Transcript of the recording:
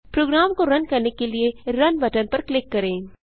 programme को run करने के लिए रुन बटन पर क्लिक करें